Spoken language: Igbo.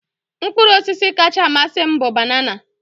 Mkpụrụ ọsisi kacha amasị m bụ banana.